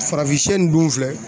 Farafinsɛ nin dun filɛ